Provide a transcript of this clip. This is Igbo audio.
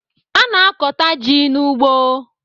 A na-akọta ji n'ugbo